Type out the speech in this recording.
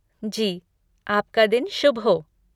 जी, आपका दिन शुभ हो!